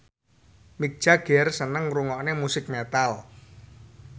Mick Jagger seneng ngrungokne musik metal